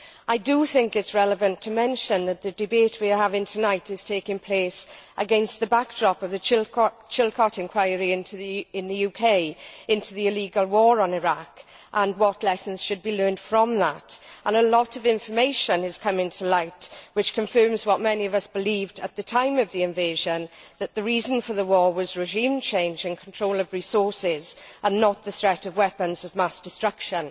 I do think it is relevant to mention that the debate we are having tonight is taking place against the backdrop of the Chilcot inquiry in the UK into the illegal war on Iraq and what lessons should be learned from that, and a lot of information is coming to light which confirms what many of us believed at the time of the invasion that the reason for the war was regime change and control of resources and not the threat of weapons of mass destruction.